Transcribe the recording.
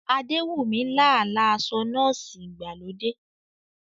Adewunmi lá àlá aṣọ nọ́ọ̀sì ìgbàlódé.